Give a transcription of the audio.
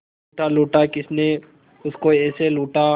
लूटा लूटा किसने उसको ऐसे लूटा